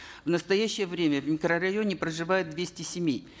в настоящее время в микрорайоне проживают двести семей